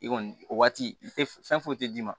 I kɔni o waati i te fɛn foyi tɛ d'i ma